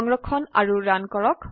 সংৰক্ষণ কৰক আৰু ৰান কৰক